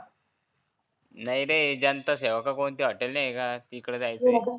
नाही रे जनतासेवा का कोणती हॉटेल नाही आहे का तीकडं जायचं आहे.